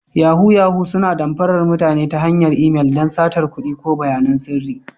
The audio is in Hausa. Yahoo-yahoo suna damfarar mutane ta hanyar imel don satar kuɗi ko bayanan sirri.